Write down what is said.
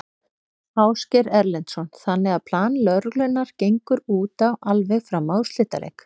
Ásgeir Erlendsson: Þannig að plan lögreglunnar gengur út á alveg fram að úrslitaleik?